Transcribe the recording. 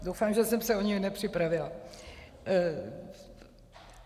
Doufám, že jsem se o něj nepřipravila.